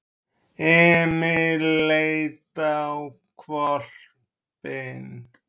Emil leit á hvolpinn.